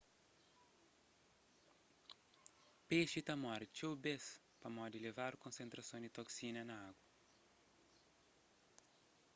pexi ta móre txeu bês pamodi elevadu konsentrason di toksina na agu